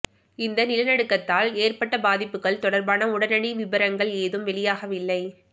இந்த நிலநடுக்கத்தால் ஏற்பட்ட பாதிப்புகள் தொடர்பான உடனடி விபரங்கள் ஏதும் வெளியாகவில்லை